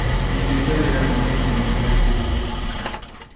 Ndutĩte wĩra mĩaka ikũmi hatarĩ kũhurũka